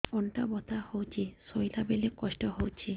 ଅଣ୍ଟା ବଥା ହଉଛି ଶୋଇଲା ବେଳେ କଷ୍ଟ ହଉଛି